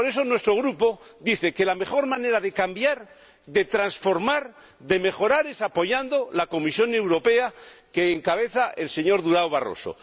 Por ello, nuestro Grupo dice que la mejor manera de cambiar, de transformar, de mejorar, es apoyar a la Comisión Europea que encabeza el señor Barroso.